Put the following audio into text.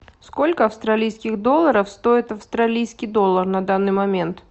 сколько австралийских долларов стоит австралийский доллар на данный момент